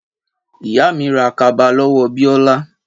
Ìyá mi rà kaba lọ́wọ́ Biola